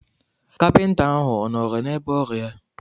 Kapịnta ahụ ọ nọọrọ n'ebe ọrụ ya.